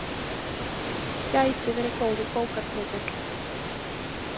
Gæti verið góður bókartitill.